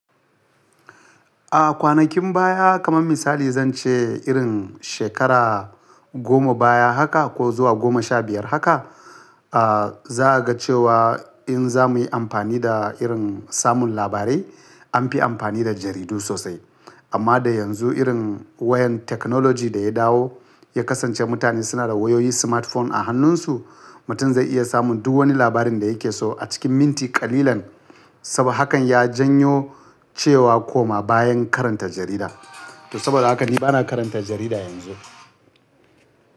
A kwanakin baya kaman misali zance irin shekara goma baya haka ko zuwa goma sha biyar haka, a za'a ga cewa in za muyi amfani da irin samun labarai anfi amfani da jaridu sosai. Amma dai yanzu irin wayan technology da ya dawo ya kasance mutane suna da wayoyi smartphone a hannunsu, mutum zai iya samun duk wani labarin da yake so a cikin minti kalilan. Saboda hakan ya janyo cewa koma bayan karanta jarida. To saboda haka ni bana karanta jarida yanzu.